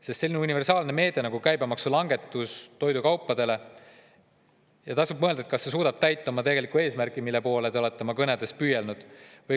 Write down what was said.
Tasub mõelda, kas universaalne meede, nagu toidukaupade käibemaksu langetus on, suudab tegelikult täita eesmärki, mille poole te olete oma sõnul püüelnud.